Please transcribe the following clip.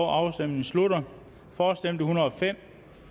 afstemningen slutter for stemte en hundrede og fem